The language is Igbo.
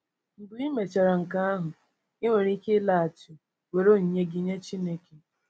Mgbe i mechara nke ahụ, ị nwere ike ịlaghachi were onyinye gị nye Chineke.